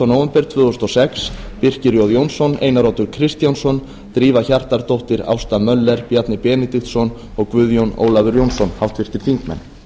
nóvember tvö þúsund og sex birkir j jónsson einar oddur kristjánsson drífa hjartardóttir ásta möller bjarni benediktsson og guðjón ólafur jónsson háttvirtir þingmenn